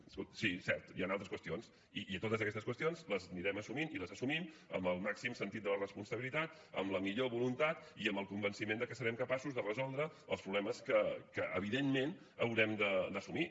escolti sí cert hi han altres qüestions i totes aquestes qüestions les anirem assumint i les assumim amb el màxim sentit de la responsabilitat amb la millor voluntat i amb el convenciment que serem capaços de resoldre els problemes que evidentment haurem d’assumir